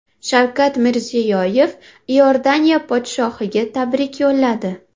Shavkat Mirziyoyev Iordaniya podshohiga tabrik yo‘lladi.